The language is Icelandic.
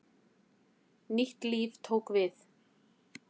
Nýtt líf tók við.